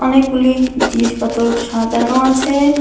অনেকগুলি জিনিসপত্র সাজানো আছে।